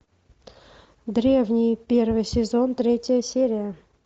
древние первый сезон третья серия